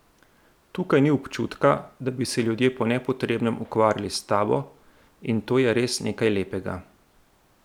Tukaj ni občutka, da bi se ljudje po nepotrebnem ukvarjali s tabo, in to je res nekaj lepega!